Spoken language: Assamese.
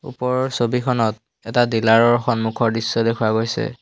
ওপৰৰ ছবিখনত এটা ডিলাৰ ৰ সন্মুখৰ দৃশ্য দেখুওৱা গৈছে।